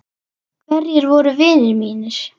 Hverjir voru vinir mínir?